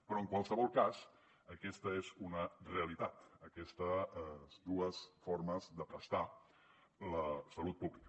però en qualsevol cas aquesta és una realitat aquestes dues formes de prestar la salut pública